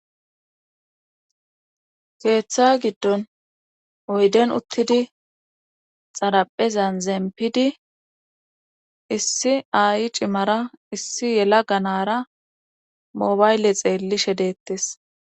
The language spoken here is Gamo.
keeththa giddon oyden uttidi xaraphezan zeempidi issi ayi cimara issi yela ganara moobayle xeelli shedeettes